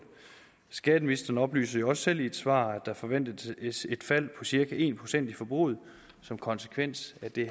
skatteministeren oplyser selv i et svar at der forventes et fald på cirka en procent i forbruget som konsekvens af det